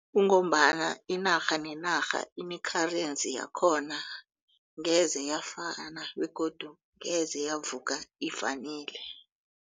Kungombana inarha nenarha ine-currency yakhona ngeze yafana begodu ngeze yavuka ifanile.